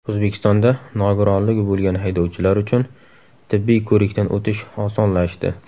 O‘zbekistonda nogironligi bo‘lgan haydovchilar uchun tibbiy ko‘rikdan o‘tish osonlashdi.